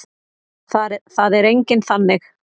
Það er enginn þannig.